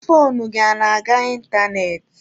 Foonu gị ọ na-aga ịntanetị?